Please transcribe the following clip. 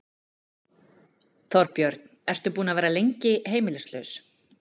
Þorbjörn: Ertu búinn að vera lengi heimilislaus?